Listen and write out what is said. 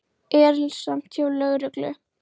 Erilsamt hjá lögreglu